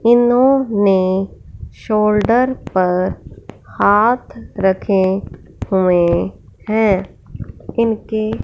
इन्होंने शोल्डर पर हाथ रखे हुए हैं इनके--